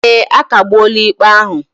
Ee, a kagbuola ikpe ahụ